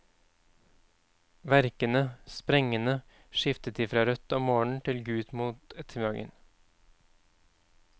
Verkende, sprengende, skiftet de fra rødt om morgenen til gult mot ettermiddagen.